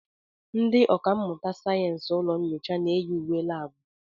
Ndị ọkà mmụta sayensị ụlọ nyocha na-eyi uwe labu.